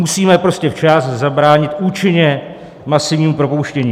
Musíme prostě včas zabránit účinně masivnímu propouštění.